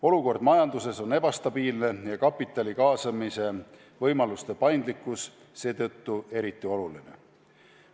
Olukord majanduses on ebastabiilne ja kapitali kaasamise võimaluse paindlikkus seetõttu eriti oluline.